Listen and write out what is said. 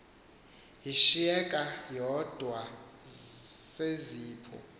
yashiyeka yodwa seziphu